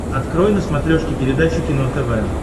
открой на смотрешке передачу кино тв